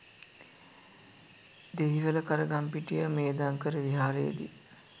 Dehiwala Karagampitiya Medhankara විහාරයේදී